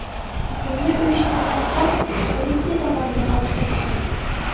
Hujumni uyushtirgan shaxs politsiya tomonidan otib tashlandi.